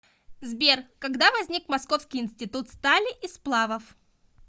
сбер когда возник московский институт стали и сплавов